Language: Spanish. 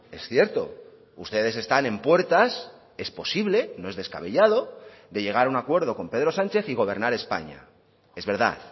es cierto ustedes están en puertas es posible no es descabellado de llegar a un acuerdo con pedro sánchez y gobernar españa es verdad